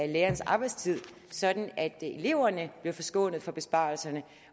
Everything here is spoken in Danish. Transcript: lærernes arbejdstid sådan at eleverne bliver forskånet for besparelserne